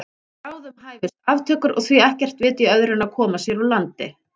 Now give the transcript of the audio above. Bráðum hæfust aftökur og því ekkert vit í öðru en að koma sér úr landi.